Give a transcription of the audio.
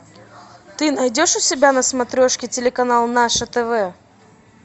ты найдешь у себя на смотрешке телеканал наше тв